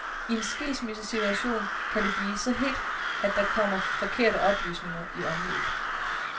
I en skilsmissesituation kan det blive så hedt, at der kommer forkerte oplysninger i omløb.